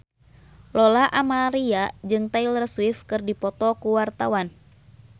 Lola Amaria jeung Taylor Swift keur dipoto ku wartawan